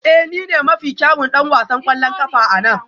Ee ni ne mafi kyawun ɗan wasan ƙwallon ƙafa a nan